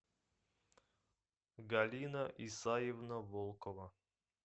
галина исаевна волкова